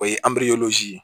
O ye